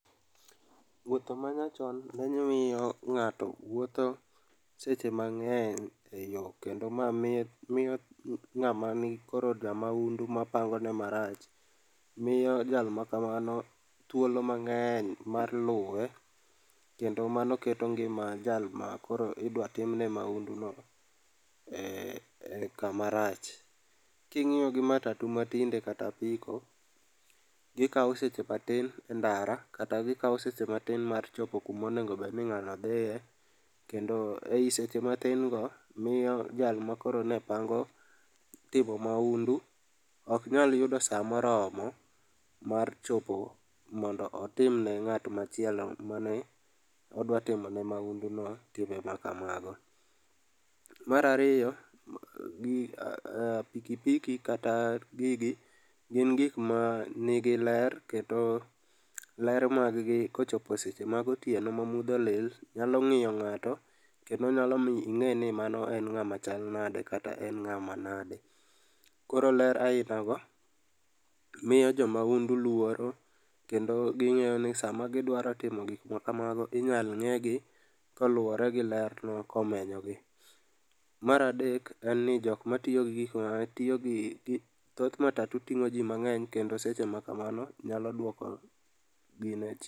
Wuotho ma nyachon ne miyo ng'ato wuotho seche mang'eny e yoo kendo mamiye, miyo ng'ama nikoro jamaundu ma pangone marach, miyo jal makamano thuolo mang'eny mar luwe kendo mano keto ngima jalma koro idwa timne maundu no ee, kama rach. King'iyo gi matatu ma tinde kata apiko, gikao seche matin e ndara kata gikao seche matin mar chopo kuma onego obed ni ng'ano dhie kendo ei seche mathin go miyo jal makoro ne pango timo maundu ok nyal yudo saa moromo mar chopo mondo otimne ng'at machielo mane odwa timone maundu no timbe makamago. Mar ariyo, pikipiki kata gigi gin gikma nigi ler kendo, kendo ler margi kochopo seche ma gotieno ma mudho olil nyalo miyo ng'ato kendo nyalo miyo inge ni mano en ng'ama chal nade kata en ng'ama nade. Koro ler aina go miyo jomaundu luoro kendo gingiyo ni sama gidwaro timol gik makamago inyal ng'egi kaluore gi ler no komenyogi. Mar adek, jokma tiyo gi, tiyo gi, thoth matatu ting'o jii mangeny kendo seche ma kamano nyalo duoko gine